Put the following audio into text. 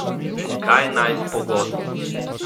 In kaj naj s pogodbo?